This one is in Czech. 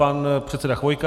Pan předseda Chvojka.